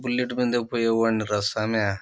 bullet మీద పోయావాడినిరా స్వామి --